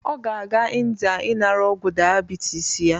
Ọ ga-aga Ịndia inara ọgwu diabitis ya.